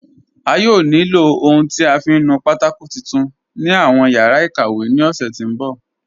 A yóò ní ilọ ohun tí a fiń nù pátákò titun ni awọn yara ikàwé ni ọ̀ṣẹ ti nbọ̀.